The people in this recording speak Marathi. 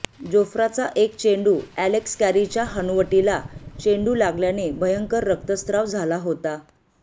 जोफ्राचा एक चेंडू अलेक्स कॅरीच्या हनुवटीला चेंडू लागल्याने भयंकर रक्तस्राव झाला होता